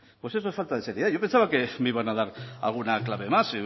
pues eso es falta de seriedad yo pensaba que me iban a dar alguna clave más